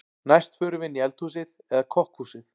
Næst förum við inn í eldhúsið eða kokkhúsið.